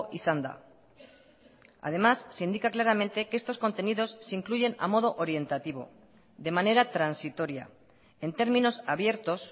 izan da además se indica claramente que estos contenidos se incluyen a modo orientativo de manera transitoria en términos abiertos